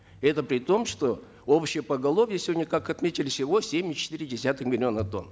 это при том что общее поголовье сегодня как отметили всего семь и четыре десятых миллиона тонн